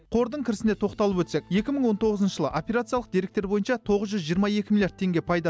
қордың кірісіне тоқталып өтсек екі мың он тоғызыншы жылы операциялық деректер бойынша тоғыз жүз жиырма екі миллиард теңге пайда